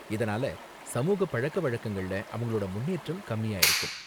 இதனால சமூகப் பழக்கவழக்கங்கள்ல அவங்களோட முன்னேற்றம் கம்மியா இருக்கும்